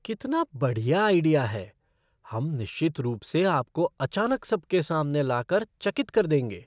कितना बढ़िया आइडिया है! हम निश्चित रूप से आपको अचानक सबके सामने लाकर चकित कर देंगे।